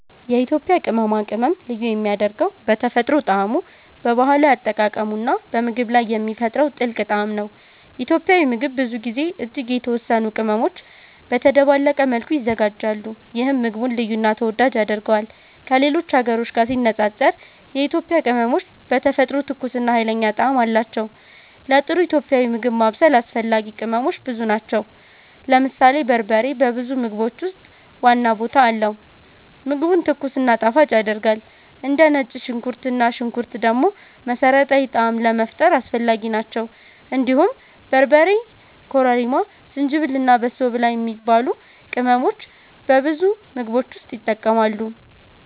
የኢትዮጵያ ቅመማ ቅመም ልዩ የሚያደርገው በተፈጥሮ ጣዕሙ፣ በባህላዊ አጠቃቀሙ እና በምግብ ላይ የሚፈጥረው ጥልቅ ጣዕም ነው። ኢትዮጵያዊ ምግብ ብዙ ጊዜ እጅግ የተወሰኑ ቅመሞች በተደባለቀ መልኩ ይዘጋጃሉ፣ ይህም ምግቡን ልዩ እና ተወዳጅ ያደርገዋል። ከሌሎች ሀገሮች ጋር ሲነጻጸር የኢትዮጵያ ቅመሞች በተፈጥሮ ትኩስ እና ኃይለኛ ጣዕም አላቸው። ለጥሩ ኢትዮጵያዊ ምግብ ማብሰል አስፈላጊ ቅመሞች ብዙ ናቸው። ለምሳሌ በርበሬ በብዙ ምግቦች ውስጥ ዋና ቦታ አለው፣ ምግቡን ትኩስ እና ጣፋጭ ያደርጋል። እንደ ነጭ ሽንኩርት እና ሽንኩርት ደግሞ መሠረታዊ ጣዕም ለመፍጠር አስፈላጊ ናቸው። እንዲሁም በርበሬ፣ ኮረሪማ፣ ዝንጅብል እና በሶ ብላ የሚባሉ ቅመሞች በብዙ ምግቦች ውስጥ ይጠቀማሉ።